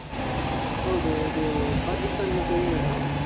ಹೌದು ಇದೂ Pakistan ಮತ್ತೆ England ಅಲ್ಲ?